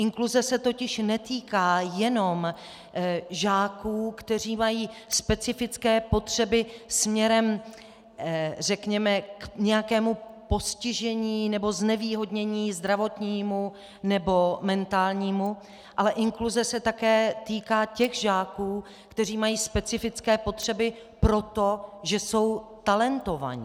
Inkluze se totiž netýká jenom žáků, kteří mají specifické potřeby směrem, řekněme, k nějakému postižení nebo znevýhodnění zdravotnímu nebo mentálnímu, ale inkluze se také týká těch žáků, kteří mají specifické potřeby proto, že jsou talentovaní.